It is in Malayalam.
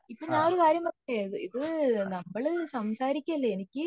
ഇപ്പൊ ഞാൻ ഒരു കാര്യം പറയട്ടെ ഇത് നമ്മൾ സംസാരിക്കല്ലേ എനിക്ക്